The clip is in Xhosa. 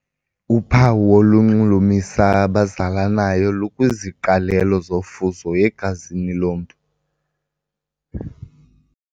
Uphawu olunxulumisa abazalanayo lukwiziqalelo zofuzo egazini lomntu.